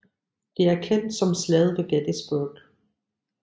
Det er kendt som Slaget ved Gettysburg